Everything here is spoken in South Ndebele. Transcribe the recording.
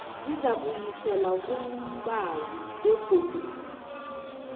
zizakubuyiselwa kumbawi begodu